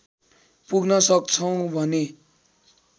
पुग्न सक्छौँ भने